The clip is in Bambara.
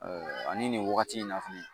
ani nin wagati in na fɛnɛ